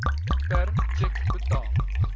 per tjek betaal